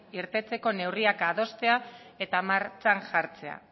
irtetzeko neurriak adostea eta martxan jartzea